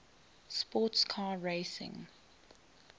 sports car racing